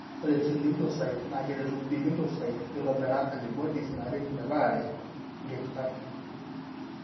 Ore T lymphocytes na keretu B lymphocytes mitobira antibodies naret metarare ingitirat.